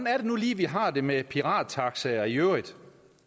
er det nu lige at vi har det med pirattaxaer i øvrigt